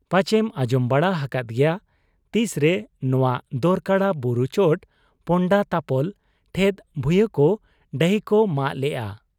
ᱯᱟᱪᱮᱢ ᱟᱸᱡᱚᱢ ᱵᱟᱲᱟ ᱟᱠᱟᱫ ᱜᱮᱭᱟ ᱾ ᱛᱤᱥᱨᱮ ᱱᱚᱣᱟ ᱫᱚᱨᱠᱚᱲᱟ ᱵᱩᱨᱩ ᱪᱚᱴ ᱯᱚᱱᱰᱟᱛᱟᱯᱚᱞ ᱴᱷᱮᱫ ᱵᱷᱩᱭᱟᱺᱠᱚ ᱰᱟᱹᱦᱤᱠᱚ ᱢᱟᱜ ᱞᱮᱜ ᱟ ᱾